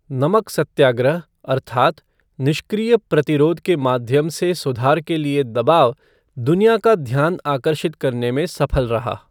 नमक सत्याग्रह अर्थात् "निष्क्रिय प्रतिरोध के माध्यम से सुधार के लिए दबाव", दुनिया का ध्यान आकर्षित करने में सफल रहा।